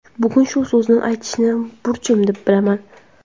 Bugun shu so‘zni aytishni burchim deb bilaman.